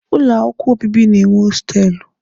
Ụlọ akwụkwọ obibi na-enwe hostelụ.